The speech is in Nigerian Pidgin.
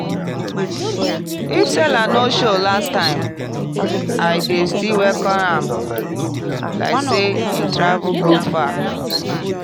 if seller no show last time i dey still welcome am like say e travel go far.